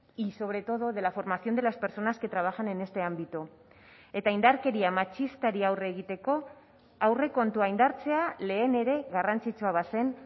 y sobre todo de la formación de las personas que trabajan en este ámbito eta indarkeria matxistari aurre egiteko aurrekontua indartzea lehen ere garrantzitsua bazen